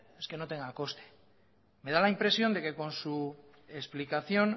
es que no tenga coste me da la impresión de que con su explicación